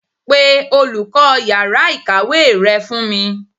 Pe olùkó yàrá ìkàwé re fún mi